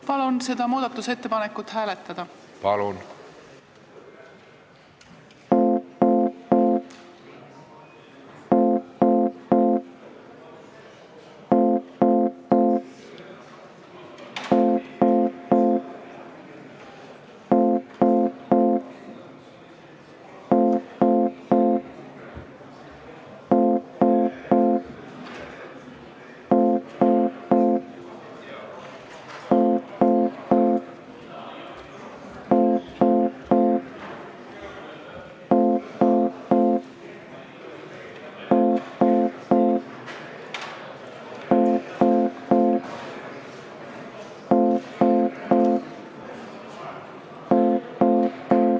Palun seda muudatusettepanekut hääletada!